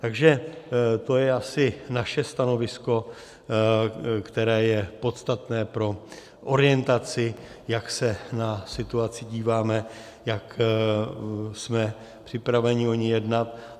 Takže to je asi naše stanovisko, které je podstatné pro orientaci, jak se na situaci díváme, jak jsme připraveni o ní jednat.